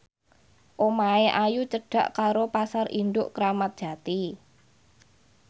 omahe Ayu cedhak karo Pasar Induk Kramat Jati